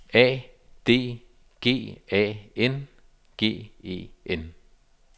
A D G A N G E N